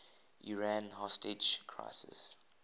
iran hostage crisis